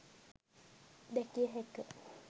දැකිය හැක.